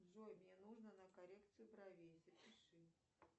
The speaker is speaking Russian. джой мне нужно на коррекцию бровей запиши